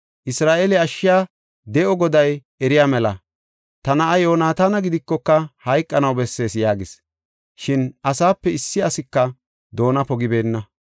Isra7eele ashshiya de7o Goday eriya mela. Ta na7a Yoonataana gidikoka, hayqanaw bessees” yaagis. Shin asaape issi asika doona pogibeenna.